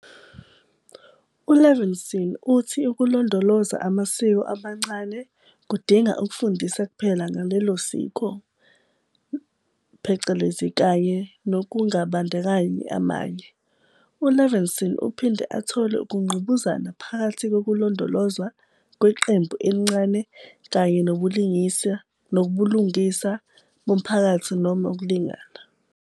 U-Levinson uthi ukulondoloza amasiko amancane kudinga ukufundisa kuphela ngalelo siko, kanye nokungabandakanyi amanye. U-Levinson uphinde athole ukungqubuzana phakathi kokulondolozwa kweqembu elincane kanye nobulungisa bomphakathi noma ukulingana.